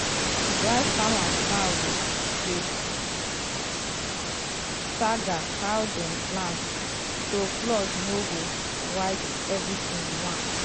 rice farmers now dey stagger how dem plant um so flood no go wipe um everything once.